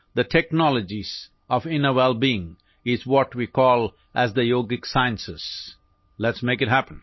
باطنی بہبود کی ٹیکنالوجیز وہ ہیں جنہیں ہم یوگا سائنس کہتے ہیں